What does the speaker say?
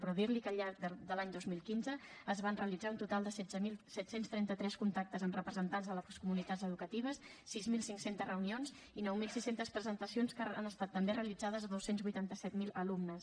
però dir li que al llarg de l’any dos mil quinze es van realitzar un total de setze mil set cents i trenta tres contactes amb representants de les comunitats educatives sis mil cinc cents reunions i nou mil sis cents presentacions que han estat també realitzades a dos cents i vuitanta set mil alumnes